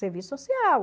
Serviço social.